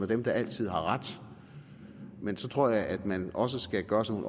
dem der altid har ret men så tror jeg at man også skal gøre sig